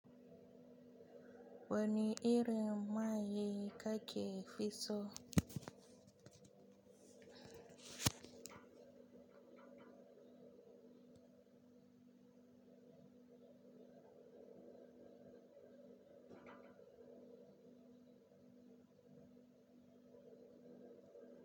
Wani irin mai kake fi so?